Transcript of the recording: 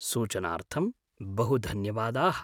सूचनार्थं बहुधन्यवादाः।